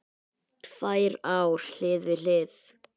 Tvær ár hlið við hlið